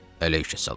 Əleykəssalam!